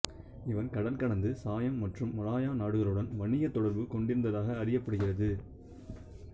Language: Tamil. இவர் கடல்கடந்து சயாம் மற்றும் மலாயா நாடுகளுடன் வணிகத் தொடர்பு கொண்டிருந்ததாக அறியப்படுகிறது